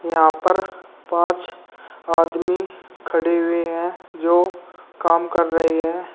यहां पर पांच आदमी खड़े हुए हैं जो काम कर रहे हैं।